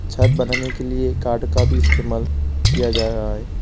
छत बनाने के लिए काड का भी इस्तेमाल किया जा रहा है।